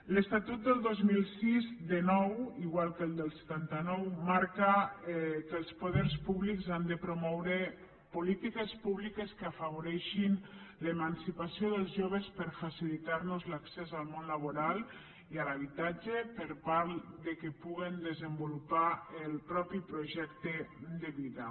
l’estatut del dos mil sis de nou igual que el del setanta nou marca que els poders públics han de promoure polítiques públiques que afavoreixin l’emancipació dels joves per facilitar los l’accés al món laboral i a l’habitatge per tal que puguen desenvolupar el propi projecte de vida